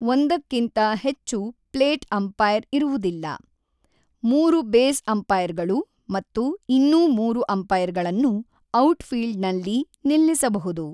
ಒಂದಕ್ಕಿಂತ ಹೆಚ್ಚು 'plate umpire' ಇರುವುದಿಲ್ಲ; ಮೂರು 'ಬೇಸ್ ಅಂಪೈರ್‌ಗಳು' ಮತ್ತು ಇನ್ನೂ ಮೂರು ಅಂಪೈರ್‌ಗಳನ್ನು ಔಟ್‌ಫೀಲ್ಡ್‌ನಲ್ಲಿ ನಿಲ್ಲಿಸಬಹುದು.